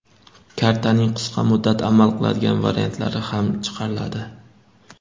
Kartaning qisqa muddat amal qiladigan variantlari ham chiqariladi.